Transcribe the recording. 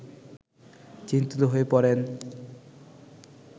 চিন্তিত হয়ে পড়েন